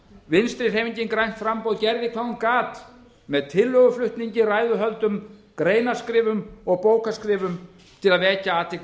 vinstri hreyfingin grænt framboð gerði hvað hún gat með tillöguflutningi ræðuhöldum greinaskrifum og bókaskrifum til að vekja athygli